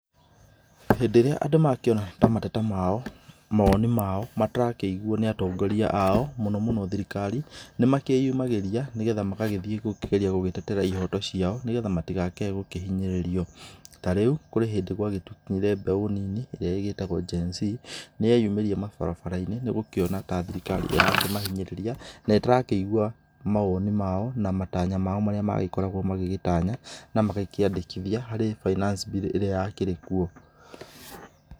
Hĩndĩ ĩrĩa andũ mangĩona ta mateta mao, mawoni mao matarakĩiguo nĩ atongoria ao, mũnomũno thirikari, nĩ makĩyumagĩria nĩgetha magagĩthiĩ gũkĩgeria gũkĩtetera ihoto ciao nĩgetha matigakĩae gũkĩhinyĩrĩrio. Ta rĩu kũrĩ hĩndĩ mbeũ nini rĩrĩa ĩgĩĩtagwo GENZ, nĩ yeyumĩria mabarabara-inĩ nĩ gũkĩona ta thirikari yao ĩkĩmahinyĩrĩria na ĩtarakĩigua mawoni mao na matanya mao marĩa magĩkoragwo magĩgĩtanya na magakĩandĩkithia harĩ finance bill ĩrĩa yakĩrĩ kuo.